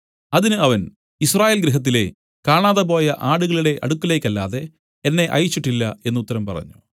അതിന് അവൻ യിസ്രായേൽ ഗൃഹത്തിലെ കാണാതെപോയ ആടുകളുടെ അടുക്കലേക്കല്ലാതെ എന്നെ അയച്ചിട്ടില്ല എന്നു ഉത്തരം പറഞ്ഞു